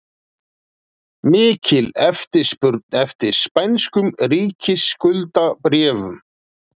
Mikil eftirspurn eftir spænskum ríkisskuldabréfum